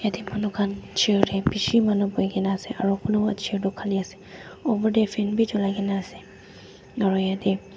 yatae manu khan chair tae bishi manu boikaena ase aro kunuba chair toh khali ase oportae fan bi cholai kaena ase aro yate--